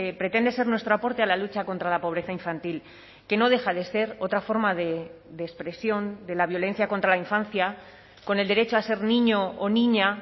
pretende ser nuestro aporte a la lucha contra la pobreza infantil que no deja de ser otra forma de expresión de la violencia contra la infancia con el derecho a ser niño o niña